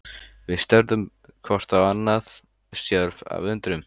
Við störðum hvort á annað, stjörf af undrun.